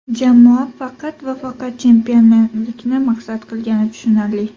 Jamoa faqat va faqat chempionlikni maqsad qilgani tushunarli.